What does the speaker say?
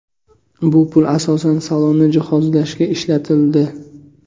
Bu pul asosan salonni jihozlashga ishlatildi.